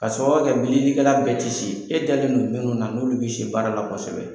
Ka sababuya kɛ bililikɛla bɛɛ ti se. E dalen don nin dɔn mun na n'olu bɛ se baara la kosɛbɛ